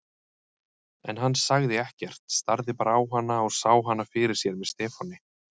En hann sagði ekkert, starði bara á hana og sá hana fyrir sér með Stefáni.